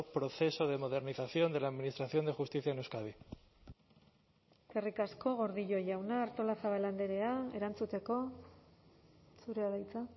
proceso de modernización de la administración de justicia en euskadi eskerrik asko gordillo jauna artolazabal andrea erantzuteko zurea da hitza